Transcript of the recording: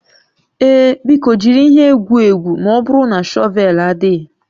Ee, biko jiri ihe egwu egwu ma ọ bụrụ na shọvel adịghị